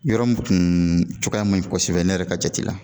Yɔrɔ min tun cogoya ma ɲi kosɛbɛ ne yɛrɛ ka jate la.